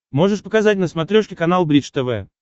можешь показать на смотрешке канал бридж тв